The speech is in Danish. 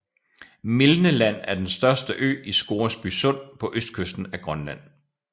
Milne Land er den største ø i Scoresby Sund på østkysten af Grønland